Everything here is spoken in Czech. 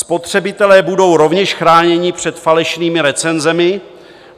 Spotřebitelé budou rovněž chráněni před falešnými recenzemi.